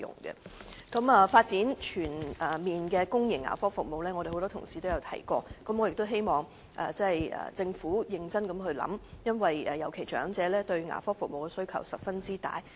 有關發展全面的公營牙科服務方面，我們很多同事已經提過，我希望政府認真考慮，尤其是長者對牙科服務的需求十分大。